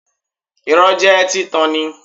Irọ́ jẹ́ títan ni